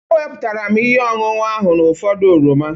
Ewepụtara m ihe ọṅụṅụ ahụ n'ụfọdụ oroma.